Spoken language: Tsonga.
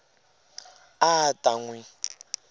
a a ta n wi